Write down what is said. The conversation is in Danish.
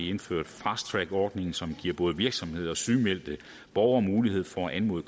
indført fast track ordningen som giver både virksomheder og sygemeldte borgere mulighed for at anmode